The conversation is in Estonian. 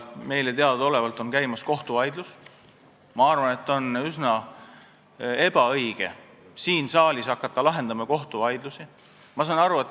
Meile teadaolevalt on käimas kohtuvaidlus ning ma arvan, et oleks üsna ebaõige hakata siin saalis kohtuvaidlusi lahendama.